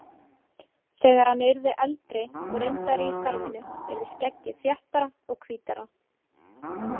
Þegar hann yrði eldri og reyndari í starfinu yrði skeggið þéttara og hvítara.